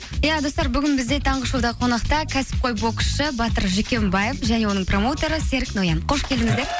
ия достар бүгін бізде таңғы шоуда қонақта кәсіпқой боксшы батыр жүкембаев және оның промоутеры серік ноян хош келдіңіздер